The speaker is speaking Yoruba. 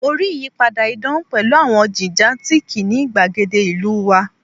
Mo rii iyipada idan pẹlu awọn ile gigantic ni igbagede ilu wa